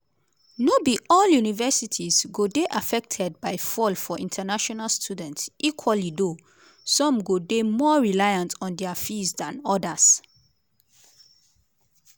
no be all universities go dey affected by fall for international students equally though - some go dey more reliant on dia fees dan odas.